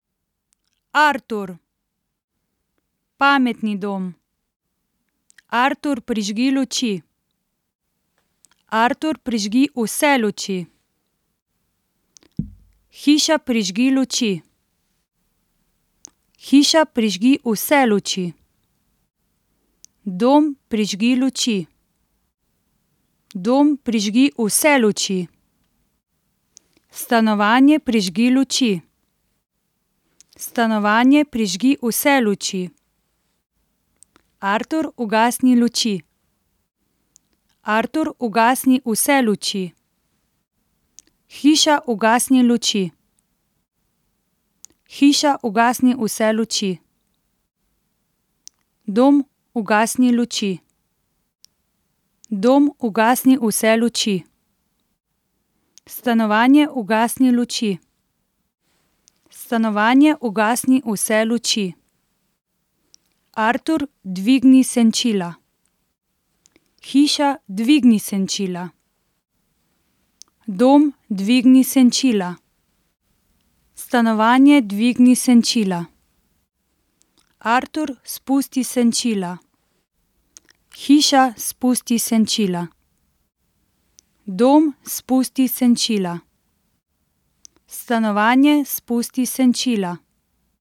Artur. Pametni dom. Artur, prižgi luči. Artur, prižgi vse luči. Hiša, prižgi luči. Hiša, prižgi vse luči. Dom, prižgi luči. Dom, prižgi vse luči. Stanovanje, prižgi luči. Stanovanje, prižgi vse luči. Artur, ugasni luči. Artur, ugasni vse luči. Hiša, ugasni luči. Hiša, ugasni vse luči. Dom, ugasni luči. Dom, ugasni vse luči. Stanovanje, ugasni luči. Stanovanje, ugasni vse luči. Artur, dvigni senčila. Hiša, dvigni senčila. Dom, dvigni senčila. Stanovanje, dvigni senčila. Artur, spusti senčila. Hiša, spusti senčila. Dom, spusti senčila. Stanovanje, spusti senčila.